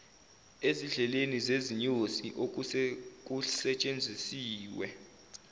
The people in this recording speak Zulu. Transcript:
ezidlekeni zezinyosi osekusetshenzisiwe